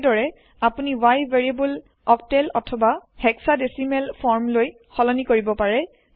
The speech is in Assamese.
একেদৰে আপুনি y ভেৰিয়েব্ল অকটেল অথবা হেক্সাদেসিমেল ফৰ্ম লৈ সলনি কৰিব পাৰে